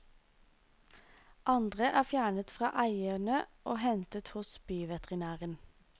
Andre er fjernet fra eierne og hentet hos byveterinæren.